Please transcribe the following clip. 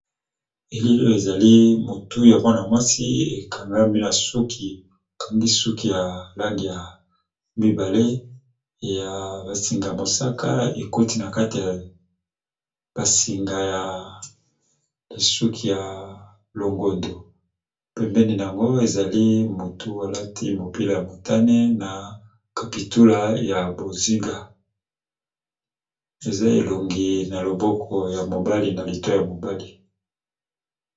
Elelo ezali motu ya mpona mwasi ekangami na suki kandi suki ya langi ya mibale ya basinga mosaka eketi na kati basinga ya suki ya longondo pempene yango ezali motu alati mopila ya motane na kapitula ya bozinga eza elongi na loboko ya mobali na lito ya mobali.